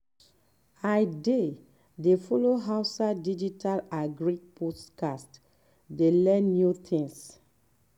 i dey dey follow hausa digital agri podcast dey learn new tins.